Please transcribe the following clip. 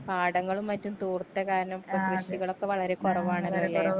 പാടങ്ങളും മറ്റും തൂർത്ത കാരണം ഇപ്പൊ കൃഷികളൊക്കെ വളരെ കൊറവാണല്ലോലേ.